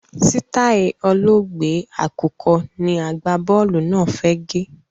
Sitai olóògbé àkùkọ ni agbá-bọ́ọ́lù náà fẹ́ gẹ̀.